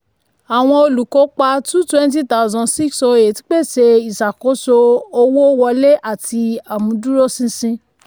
àwọn olùkópa two twenty thousand six oh eight pèsè ìṣàkóso owó wọlé àti àmúdúróṣinṣin.